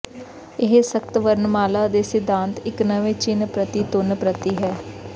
ਇਹ ਸਖ਼ਤ ਵਰਣਮਾਲਾ ਦੇ ਸਿਧਾਂਤ ਇਕ ਨਵੇਂ ਚਿੰਨ੍ਹ ਪ੍ਰਤੀ ਧੁਨੀ ਪ੍ਰਤੀ ਹੈ